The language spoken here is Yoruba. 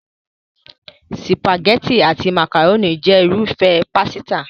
Sìpàgẹ́tì àti màkàrónì jẹ́ irúfẹ́ pásítà.